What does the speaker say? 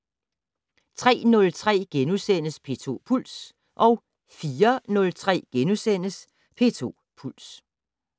03:03: P2 Puls * 04:03: P2 Puls *